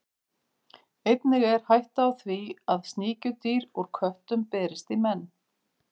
Einnig er hætta á því að sníkjudýr úr köttum berist í menn.